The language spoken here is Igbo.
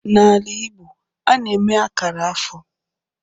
N'ala Igbo, a na-eme akara afọ